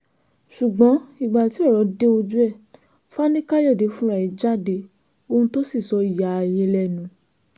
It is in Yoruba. ṣùgbọ́n ìgbà tí ọ̀rọ̀ dé ojú ẹ̀ fani káyọ̀dé fúnra ẹ̀ jáde ohun tó sì sọ ya ayé lẹ́nu